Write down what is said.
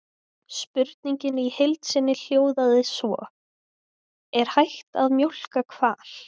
Spurningin í heild sinni hljóðaði svo: Er hægt að mjólka hval?